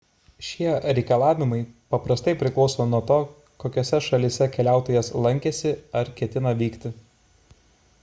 šie reikalavimai paprastai priklauso nuo to kokiose šalyse keliautojas lankėsi ar kur ketina vykti